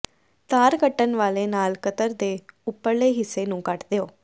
ਤਾਰ ਕੱਟਣ ਵਾਲੇ ਨਾਲ ਕਤਰ ਦੇ ਉਪਰਲੇ ਹਿੱਸੇ ਨੂੰ ਕੱਟ ਦਿਓ